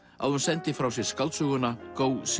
að hún sendi frá sér skáldsöguna Go